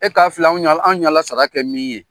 E k'a filɛ, an y'a an y'Ala sara kɛ min ye?